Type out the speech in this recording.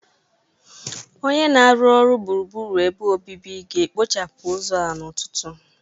Onye na-arụ ọrụ gburugburu ebe obibi ga-ekpochapụ ụzọ a n'ụtụtụ